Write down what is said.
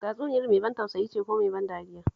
Tatsuniyar mai ban tausayi ce ko mai ban dariya?